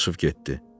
Dadaşov getdi.